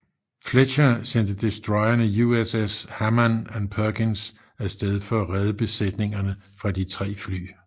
Fletcher sendte destroyerne USS Hammann og Perkins af sted for at redde besætningerne fra de tre fly